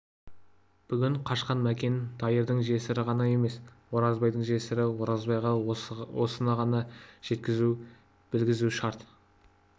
бүгін қашқан мәкен дайырдың жесірі ғана емес оразбайдың жесірі оразбайға осыны ғана жеткізу білгізу шарт